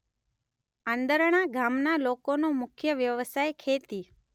આંદરણા ગામના લોકોનો મુખ્ય વ્યવસાય ખેતી